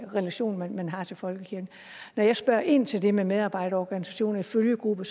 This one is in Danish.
relation man har til folkekirken når jeg spørger ind til det med medarbejderorganisationer i følgegrupper